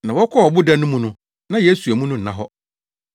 Na wɔkɔɔ ɔboda no mu no na Yesu amu no nna hɔ.